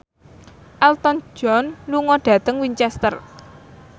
Elton John lunga dhateng Winchester